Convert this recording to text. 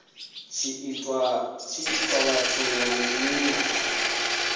tshi ita zwithu nga nila